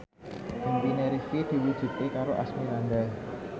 impine Rifqi diwujudke karo Asmirandah